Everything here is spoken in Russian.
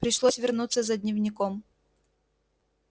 пришлось вернуться за дневником